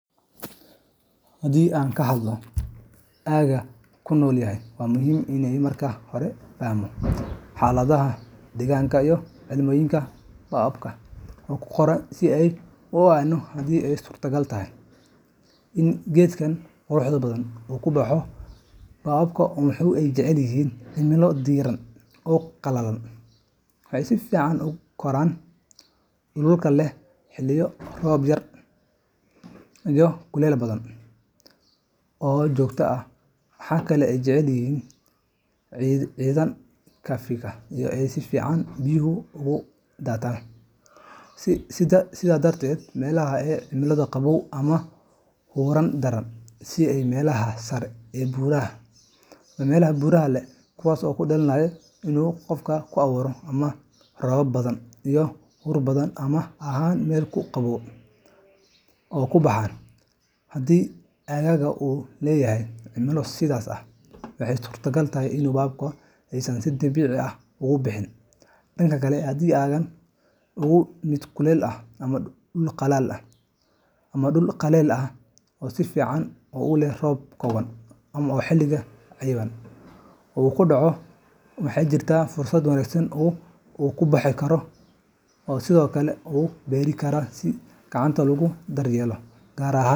Haddii aan ka hadalno aagga aan ku noolahay, waa muhiim in aan marka hore fahamno xaaladaha deegaanka iyo cimilooyinka baobabka ay ku koraan si aan u ogaanno haddii ay suurtagal tahay in geedkan quruxda badan uu ku baxo. Baobabka waxa ay jecel yihiin cimilo diiran oo qalalan, waxayna si fiican ugu koraan dhulalka leh xilliyo roob yar iyo kulayl badan oo joogto ah. Waxa kale oo ay jecel yihiin ciidaha khafiifka ah ee si fiican biyuhu uga daataan. Sidaa darteed, meelaha leh cimilo qabow ama huur daran, sida meelaha sare ee buuraleyda ama meelaha leh roobab badan iyo huur badan, ma ahan meel ku habboon baobabka inay ku baxaan. Haddii aaggaaga uu leeyahay cimilo sidaas ah, waxaa suuragal ah in baobabka aysan si dabiici ah uga bixin. Dhanka kale, haddii aaggaaga uu yahay mid kulul, leh dhul qallalan ama dhul si fiican u qalalan, oo leh roobab kooban oo xilliyo cayiman ku dhaca, waxaa jirta fursad wanaagsan oo baobabku uga baxo deegaankaas. Baobabka ayaa sidoo kale lagu beeri karaa si gacanta loo daryeelo, gaar ahaan.